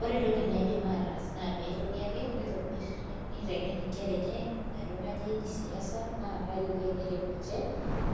Ore entoki naidim ataas naa pee etoni ake niteng'en nkera enye ajo kainyio eji siasa naa kaiko teneret ninche